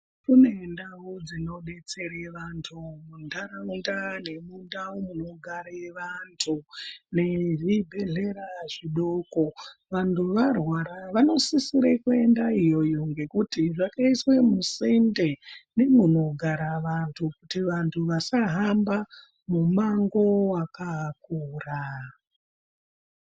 Kune ndau dzino betsere vantu mu ndaraunda nemu ndau muno gare vantu ne zvibhedhleya zvidoko vantu varwara vano sisire kuenda iyoyo ngekuti zvaka iswa musinde nemuno gara vantu kuti vantu vasa hamba mu mango waka kura.